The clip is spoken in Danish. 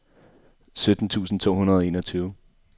sytten tusind to hundrede og enogtyve